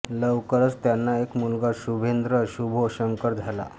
लवकरच त्यांना एक मुलगा शुभेंद्र शुभो शंकर झाला